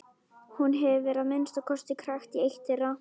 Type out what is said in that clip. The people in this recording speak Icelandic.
Hún hefur að minnsta kosti krækt í eitt þeirra.